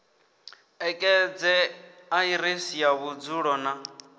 ṋekedze aḓiresi ya vhudzulo na